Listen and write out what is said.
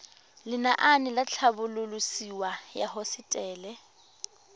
lenaane la tlhabololosewa ya hosetele